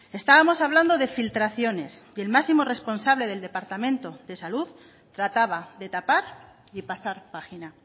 estábamos hablando de filtraciones y el máximo responsable del departamento de salud trataba de tapar y pasar página